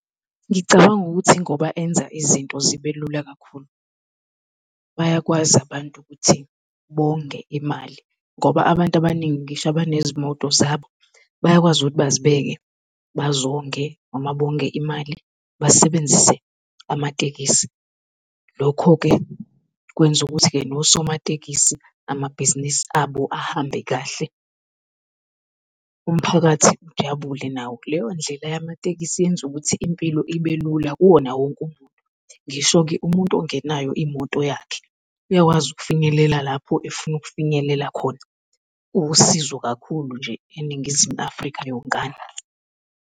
Ngicabanga ukuthi ngoba enza izinto zibelula kakhulu, bayakwazi abantu ukuthi bonge imali ngoba abantu abaningi ngisho abanezimoto zabo bayakwazi ukuthi bazibeke bazonge noma bonge imali basebenzise amatekisi. Lokho-ke kwenza ukuthi-ke nosomatekisi amabhizinisi abo ahambe kahle, umphakathi ujabule nawo. Leyo ndlela yamatekisi yenza ukuthi impilo ibe lula kuwona wonke umuntu. Ngisho-ke umuntu ongenayo imoto yakhe uyakwazi ukufinyelela lapho efuna ukufinyelela khona uwusizo kakhulu nje eNingizimu Afrika yonkana.